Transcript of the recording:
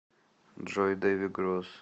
джой дэви гросс